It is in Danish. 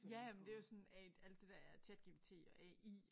Jamen det jo sådan a alt det der ChatGPT og AI